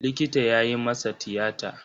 Likita ya yi masa tiyata.